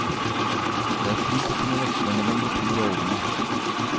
Det er fint å kunne veksle mellom de to rollene.